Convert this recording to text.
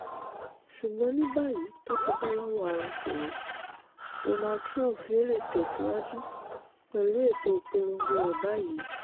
ṣùgbọ́n ní báyìí tó ti bọ́ lọ́wọ́ àrùn koro donald trump yóò lè tẹ̀ síwájú pẹ̀lú ètò ìpolongo rẹ̀ báyìí